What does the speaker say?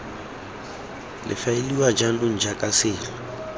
le faeliwa jaanong jaaka selo